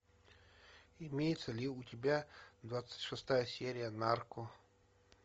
имеется ли у тебя двадцать шестая серия нарко